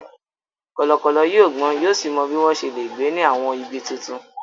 Kọ̀lọ̀kọ̀lọ̀ yóò gbọ́n yóò sì mọ bí wọ́n ṣe lè gbé ní àwọn ibi tuntun.